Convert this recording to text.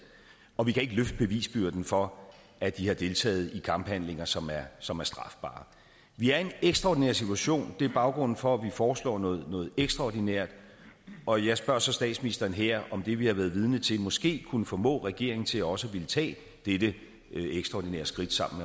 og vi kan ikke løfte bevisbyrden for at de har deltaget i kamphandlinger som er som er strafbare vi er i en ekstraordinær situation det er baggrunden for at vi foreslår noget ekstraordinært og jeg spørger så statsministeren her om det vi har været vidne til måske kunne formå regeringen til også at ville tage dette ekstraordinære skridt sammen